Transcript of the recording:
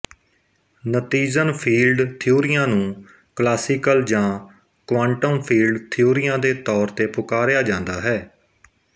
ਨਤੀਜਨ field ਥਿਊਰੀਆਂ ਨੂੰ classical ਜਾਂ ਕੁਆਂਟਮ ਫੀਲਡ ਥਿਊਰੀਆਂ ਦੇ ਤੌਰ ਤੇ ਪੁਕਾਰਿਆ ਜਾਂਦਾ ਹੈ